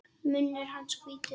Munnur hans hvítur.